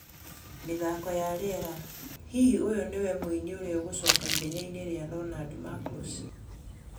(Mĩthaako ya rĩera) Hihi ũyũ nĩwe mũini ũrĩa ũgũcoka ithenya-inĩ rĩa Leonard Marcus?